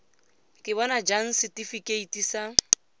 ka bona jang setifikeite sa